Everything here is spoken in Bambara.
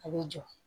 A bɛ jɔ